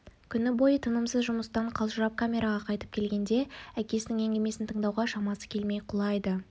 күні бойы тынымсыз жұмыстан қалжырап камераға қайтып келгенде әкесінің әңгімесін тыңдауға шамасы келмей құлайды